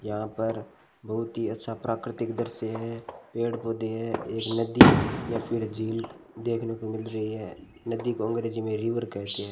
यहां पर बहुत ही अच्छा प्राकृतिक दृश्य है पेड़ पौधे है एक नदी या फिर झील देखने को मिल रही है नदी को अंग्रेजी में रिवर कहते है।